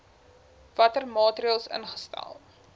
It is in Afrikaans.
watter maatreëls ingestel